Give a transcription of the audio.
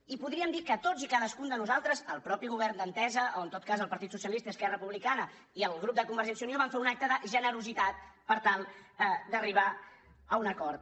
i podríem dir que tots i cadascun de nosaltres el mateix govern d’entesa o en tot cas el partit socialista i esquerra republicana i el grup de convergència i unió van fer un acte de generositat per tal d’arribar a un acord